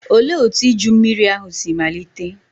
Olee otú iju mmiri ahụ si malite?